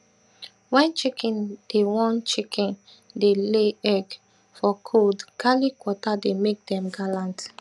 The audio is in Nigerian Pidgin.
wen chicken dey wen chicken dey lay egg for cold garlic water dey make dem gallant